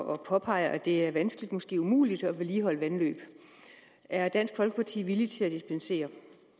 og påpeger at det er vanskeligt måske umuligt at vedligeholde vandløb er dansk folkeparti villig til at dispensere